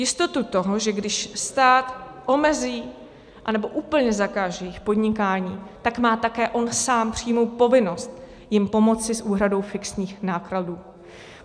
Jistotu toho, že když stát omezí anebo úplně zakáže jejich podnikání, tak má také on sám přímou povinnost jim pomoci s úhradou fixních nákladů.